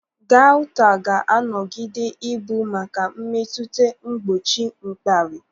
Gaụta ga-anọgide ị bụ maka mmetụta mgbochi mkpali.